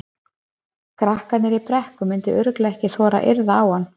Krakkarnir í Brekku myndu örugglega ekki þora að yrða á hann.